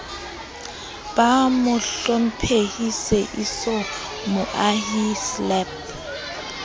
ba mohlomphehi seeiso mohai slp